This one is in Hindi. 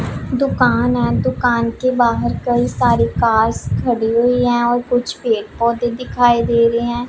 दुकान है दुकान के बाहर कई सारी कार्स खड़ी हुई है वो कुछ पेड़ पौधे दिखाई दे रहे हैं।